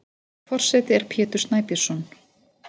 Forseti er Pétur Snæbjörnsson.